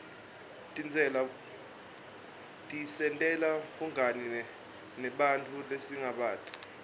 tisentela bungani nebanntfu lesingabati